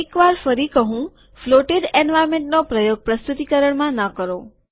એક વાર ફરી કહું ફ્લોટેડ એન્વાર્નમેન્ટોનો પ્રયોગ પ્રસ્તુતિકરણમાં ન કરો